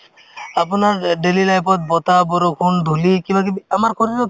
আপোনাৰ অ daily life ত বতাহ, বৰষুণ, ধূলি কিবাকিবি আমাৰ শৰীৰত